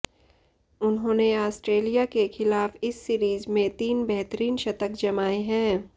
उन्होंने ऑस्ट्रेलिया के खिलाफ इस सीरीज में तीन बेहतरीन शतक जमाए हैं